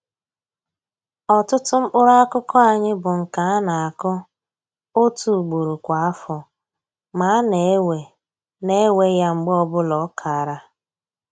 Ọtụtụ mkpụrụakụkụ anyị bụ nke a na-akụ otu ugboro kwa afọ ma a na-ewe na-ewe ya mgbe ọbụla ọ kara